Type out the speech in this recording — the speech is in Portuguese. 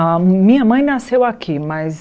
A minha mãe nasceu aqui, mas...